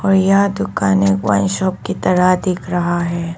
यह दुकाने wine shop की तरह दिख रहा है।